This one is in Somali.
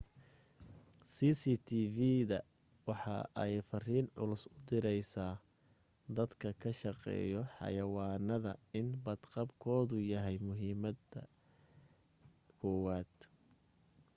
cctv-da waxa ay fariin culus u direysa dadka ka shaqeeyo xayawaanada in bad qabkoodu yahay muhiimada koowaad